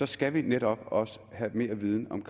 skal vi netop også have mere viden om